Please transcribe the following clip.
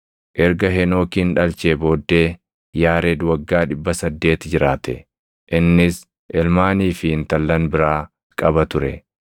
Erga Henookin dhalchee booddee Yaared waggaa 800 jiraate; innis ilmaanii fi intallan biraa qaba ture.